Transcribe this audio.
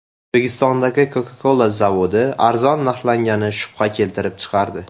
O‘zbekistondagi Coca-Cola zavodi arzon narxlangani shubha keltirib chiqardi.